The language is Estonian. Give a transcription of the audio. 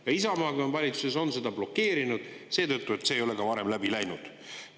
Ja Isamaa ka valitsuses on seda blokeerinud seetõttu, et see ei ole ka varem läbi läinud.